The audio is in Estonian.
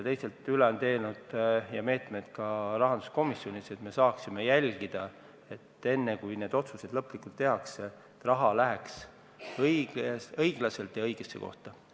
Nii et me rahanduskomisjonis peame saama jälgida, et enne, kui otsused lõplikult tehakse, oleks kindel, et raha jagatakse õiglaselt ja läheb õigesse kohta.